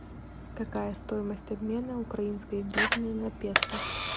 какая стоимость обмена украинской гривны на песо